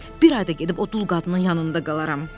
bir ay da gedib o dul qadının yanında qalaram.